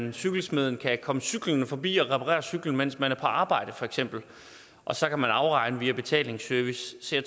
at cykelsmeden kan komme cyklende forbi og reparere cyklen mens man er på arbejde og så kan man afregne via betalingsservice så